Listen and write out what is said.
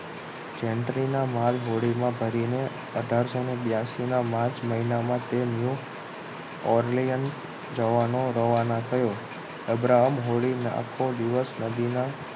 જેન્ટ્રીના માલ હોડીમાં ભરીને અઠારસો બયાશી ના માર્ચ મહિનામાં તેમનું ઓરલીયન જવાનું રવાના થયો છે અબ્રાહમ હોડીને આખો દિવસ નદીના